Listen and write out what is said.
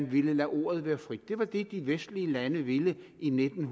ville lade ordet være frit det var det de vestlige lande ville i nitten